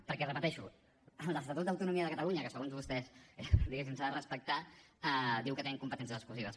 perquè ho repeteixo l’estatut d’autonomia de catalunya que segons vostès diguéssim s’ha de respectar diu que tenim competències exclusives